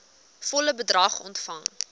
volle bedrag ontvang